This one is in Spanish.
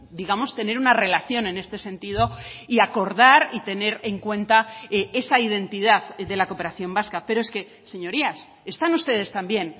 digamos tener una relación en este sentido y acordar y tener en cuenta esa identidad de la cooperación vasca pero es que señorías están ustedes también